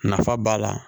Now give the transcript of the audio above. Nafa b'a la